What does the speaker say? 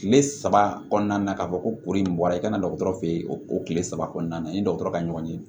Kile saba kɔnɔna na ka fɔ ko kuru in bɔra i ka na dɔgɔtɔrɔ fe o kile saba kɔnɔna na ni dɔgɔtɔrɔ ka ɲɔgɔn ye